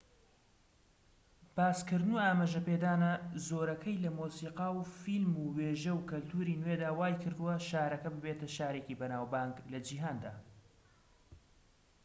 باسکردن و ئاماژەپێدانە زۆرەکەی لە مۆسیقا و فلیم و وێژە و کەلتوری نوێدا وایکردووە شارەکە ببێتە شارێکی بەناوبانگ لە جیهاندا